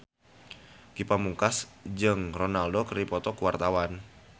Ge Pamungkas jeung Ronaldo keur dipoto ku wartawan